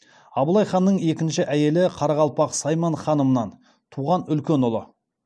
абылай ханның екінші әйелі қарақалпақ сайман ханымнан туған үлкен ұлы